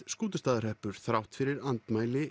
Skútustaðahreppur þrátt fyrir andmæli